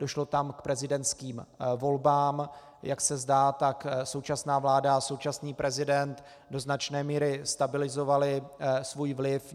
Došlo tam k prezidentským volbám, jak se zdá, tak současná vláda a současný prezident do značné míry stabilizovali svůj vliv.